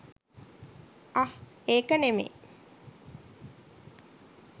අහ් ඒක නෙමෙයි